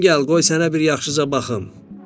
Yaxın gəl, qoy sənə bir yaxşıca baxım.